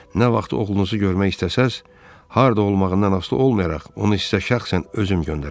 Nə vaxt oğlunuzu görmək istəsəz, harda olmağından asılı olmayaraq, onu sizə şəxsən özüm göndərəcəm.